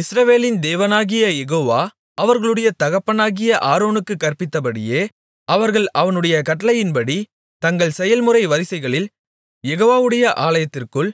இஸ்ரவேலின் தேவனாகிய யெகோவா அவர்களுடைய தகப்பனாகிய ஆரோனுக்குக் கற்பித்தபடியே அவர்கள் அவனுடைய கட்டளையின்படி தங்கள் செயல்முறை வரிசைகளில் யெகோவாவுடைய ஆலயத்திற்குள்